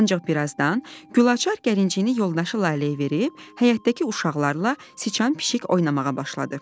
Ancaq bir azdan Gülaçar gəlincini yoldaşı Laləyə verib, həyətdəki uşaqlarla sıçan-pişik oynamağa başladı.